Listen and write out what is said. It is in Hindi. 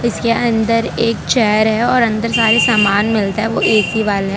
इसके अंदर एक चेयर है और अंदर सारे सामान मिलता है वो एक ही वाल है।